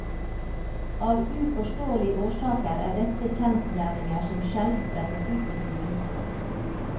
Av uforståelige årsaker er dette kjensgjerninger som sjelden brettes ut på styrebordet.